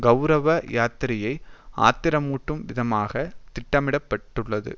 கெளரவ யாத்திரையை ஆத்திரமூட்டும் விதமாக திட்டமிடபட்டுள்ளது